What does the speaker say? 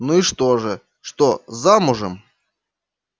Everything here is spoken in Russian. ну и что же что замужем